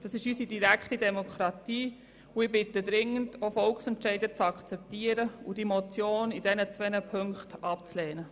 Das ist unsere direkte Demokratie, und ich bitte dringend darum, Volksentscheide zu akzeptieren und die Motion in beiden Punkten abzulehnen.